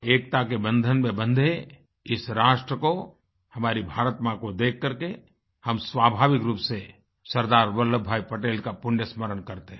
एकता के बंधन में बंधे इस राष्ट्र को हमारी भारत माँ को देख करके हम स्वाभाविक रूप से सरदार वल्लभभाई पटेल का पुण्य स्मरण करते हैं